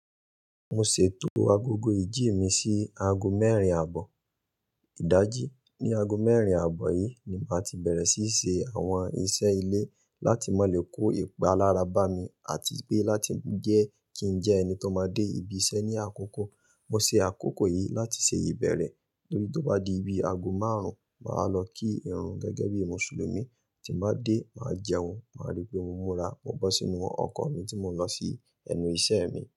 Mo ṣètò agogo ìjí mi sí aago mẹ́rin àbọ̀. Ìdájí, ní aago mẹ́rin àbọ̀ yìí ni màá ti bẹ̀rẹ̀ sí í ṣe àwọn iṣẹ́ ilé láti mọ́ le kó ipa lára bá mi àti pé láti jẹ́ kí n jẹ́ ẹni tó máa dé ibi iṣẹ́ ní àkókò. Mo ṣe àkókò yìí láti ṣe ìbẹ̀rẹ̀, lórí tó bá di ibi aago márùn-ún, màá lọ kí irun gẹ́gẹ́ bí Mùsùlùmí, tí mo bá dé, màá jẹun, màá rí pé mo múra, mo bọ́ sínú ọkọ̀ mi tí mo ń lọ sí ẹnu iṣẹ́ mi.